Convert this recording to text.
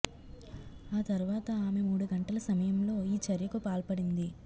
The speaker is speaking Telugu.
ఆ తర్వాత ఆమె మూడు గంటల సమయంలో ఈ చర్యకు పాల్పడింది